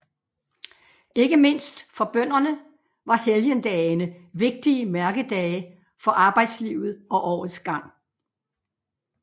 Ikke mindst for bønderne var helgendagene vigtige mærkedage for arbejdslivet og årets gang